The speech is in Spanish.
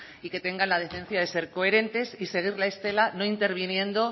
y que tengan la decencia de ser coherentes y seguir la estela no interviniendo